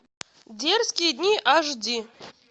дерзкие дни аш ди